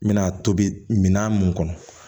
N bɛna tobi minan mun kɔnɔ